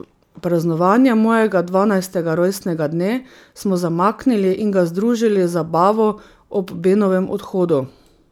Praznovanje mojega dvanajstega rojstnega dne smo zamaknili in ga združili z zabavo ob Benovem odhodu.